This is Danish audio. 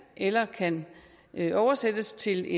eller kan oversættes til